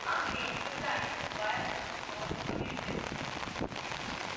англия никогда не вступает на стороны побеждённого